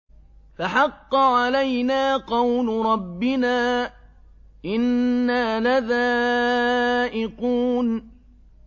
فَحَقَّ عَلَيْنَا قَوْلُ رَبِّنَا ۖ إِنَّا لَذَائِقُونَ